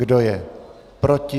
Kdo je proti?